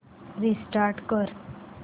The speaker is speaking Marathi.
रिस्टार्ट कर